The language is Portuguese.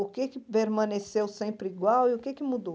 O que é que permaneceu sempre igual e o que é que mudou?